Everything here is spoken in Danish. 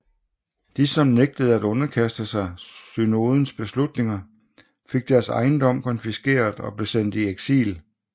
De som nægtede at underkaste sig synodens beslutninger fik deres ejendom konfiskeret og blev sendt i eksil